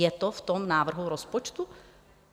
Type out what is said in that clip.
Je to v tom návrhu rozpočtu?